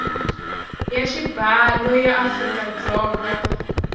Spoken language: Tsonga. ya xibalo ya afrika dzonga